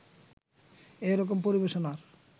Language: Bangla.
এ রকম পরিবেশনার